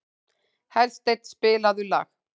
Hersteinn, spilaðu lag.